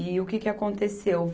E o que que aconteceu?